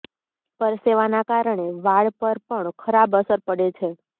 પરસેવાના કારણે વાળ પર પણ ખરાબ અસર પડે છે